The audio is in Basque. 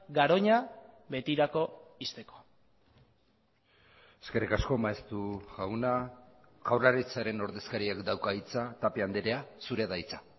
garoña betirako ixteko eskerrik asko maeztu jauna jaurlaritzaren ordezkariak dauka hitza tapia andrea zurea da hitza